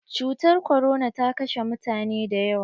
Cutar korona ta kashe mutane da yawa.